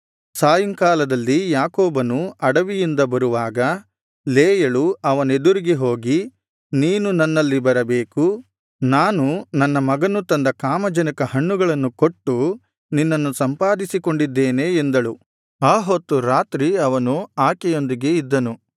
ಸಾಯಂಕಾಲದಲ್ಲಿ ಯಾಕೋಬನು ಅಡವಿಯಿಂದ ಬರುವಾಗ ಲೇಯಳು ಅವನೆದುರಿಗೆ ಹೋಗಿ ನೀನು ನನ್ನಲ್ಲಿ ಬರಬೇಕು ನಾನು ನನ್ನ ಮಗನು ತಂದ ಕಾಮಜನಕ ಹಣ್ಣುಗಳನ್ನು ಕೊಟ್ಟು ನಿನ್ನನ್ನು ಸಂಪಾದಿಸಿಕೊಂಡಿದ್ದೇನೆ ಎಂದಳು ಆ ಹೊತ್ತು ರಾತ್ರಿ ಅವನು ಆಕೆಯೊಂದಿಗೆ ಇದ್ದನು